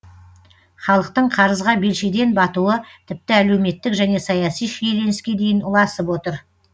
халықтың қарызға белшеден батуы тіпті әлеуметтік және саяси шиеленіске дейін ұласып отыр